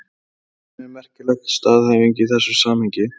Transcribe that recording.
Þetta þykir mér merkileg staðhæfing í þessu samhengi.